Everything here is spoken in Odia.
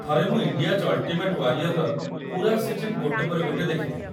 ଥରେ ମୁଁ "ଇଣ୍ଡିଆଜ୍‌ ଅଲ୍‌ଟିମେଟ୍ ୱାରିଅର୍"ର ପୂରା ସିଜନ୍ ଗୋଟେ ପରେ ଗୋଟେ ଦେଖିଥିଲି।